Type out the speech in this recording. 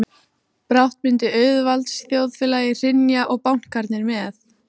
Brátt myndi auðvaldsþjóðfélagið hrynja og bankarnir með.